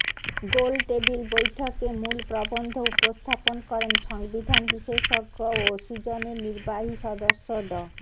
গোলটেবিল বৈঠকে মূল প্রবন্ধ উপস্থাপন করেন সংবিধান বিশেষজ্ঞ ও সুজনের নির্বাহী সদস্য ড